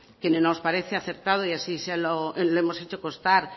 que nos parece aceptado y así se lo hemos hecho costar